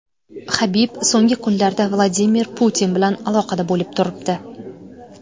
Habib so‘nggi kunlarda Vladimir Putin bilan aloqada bo‘lib turibdi.